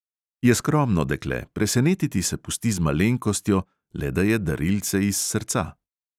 Je skromno dekle, presenetiti se pusti z malenkostjo, le da je darilce iz srca.